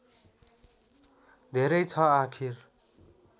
धेरै छ आखिर